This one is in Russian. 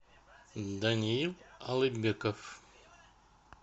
даниил алыкбеков